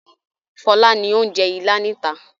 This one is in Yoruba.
Fọlá ni ó ń jẹ Ìlá níta.